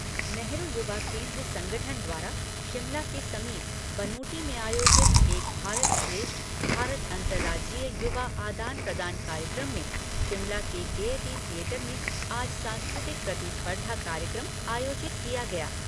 नेहरू युवा केन्द्र संगठन द्वारा शिमला के समीप बनूटी में आयोजित एक भारत श्रेष्ठ भारत अंतर्राज्यीय युवा आदान प्रदान कार्यक्रम में शिमला के गेयटी थियेटर में आज सांस्कृतिक प्रतिस्पर्धा कार्यक्रम आयोजित किया गया।